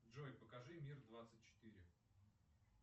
джой покажи мир двадцать четыре